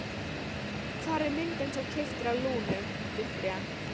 Hvar er myndin sem þú keyptir af Lúnu, Viktoría?